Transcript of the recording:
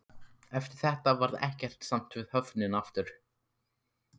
Eftir þetta varð ekkert samt við höfnina aftur.